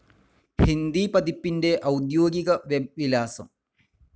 ഹിന്ദി പതിപ്പിൻ്റെ ഔദ്യോഗിക വെബ് വിലാസം.